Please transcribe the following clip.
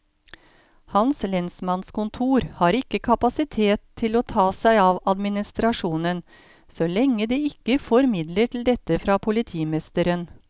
Hans lensmannskontor har ikke kapasitet til å ta seg av administrasjonen, så lenge de ikke får midler til dette fra politimesteren.